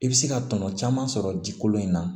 I bɛ se ka tɔnɔ caman sɔrɔ ji kolon in na